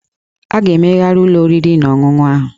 A ga-emegharị ụlọ oriri na ọṅụṅụ ahụ